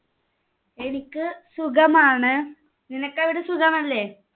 എനിക്ക് സുഖമാണ്. നിനക്ക് അവിടെ സുഖമല്ലേ?